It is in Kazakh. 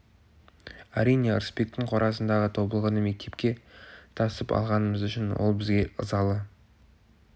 әрине ырысбектің қорасындағы тобылғыны мектепке тасып алғанымыз үшін ол бізге ызалы